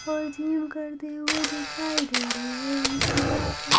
और जीम करते हुए दिखाई दे रहे हैं इसके आसपास--